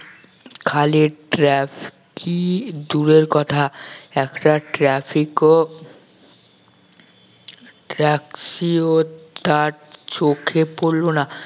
খালি traffic দূরের কথা একটা traffic ও taxi ও তার চোখে পড়লো না